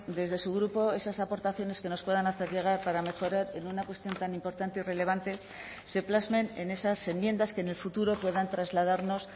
desde su grupo esas aportaciones que nos puedan hacer llegar para mejorar en una cuestión tan importante y relevante se plasmen en esas enmiendas que en el futuro puedan trasladarnos